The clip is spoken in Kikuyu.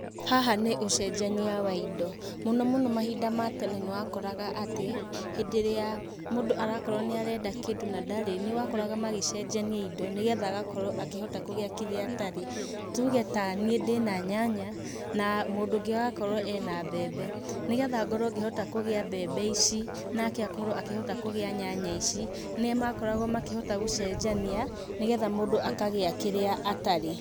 Haha nĩ ũcenjaniia wa indo, mũno mũno mahinda matene nĩwakoraga atĩ, hindĩ ĩrĩa mũndũ arakorwo nĩarenda kindũ na ndarĩ, nĩwakoraga magĩcenjania indo, nĩgetha agakorwo akĩhota kũgĩa kĩrĩa atarĩ, tuge taniĩ ndĩna nyanya, na mũndũ ũngĩ agakorwo ena mbembe, nĩgetha ngorwo ngĩhota kũgĩa mbembe ici, nake akorwo akĩhota kũgĩa nyanya ici, nĩmakoragwo makĩhota gũcenjania, nĩgetha mũndũ akagĩa kĩrĩa atarĩ.